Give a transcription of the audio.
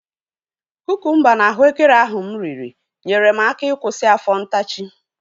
Kukumba na ahụekere ahu mụ riri nyere m aka ịkwụsị afọ ntachi